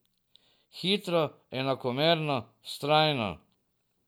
Hitro, enakomerno, vztrajno.